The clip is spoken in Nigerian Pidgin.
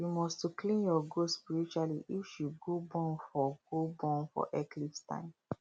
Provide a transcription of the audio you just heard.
you must to clean your goat spiritually if she go born for go born for eclipse time